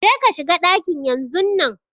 Je ka shiga ɗaki yanzun nan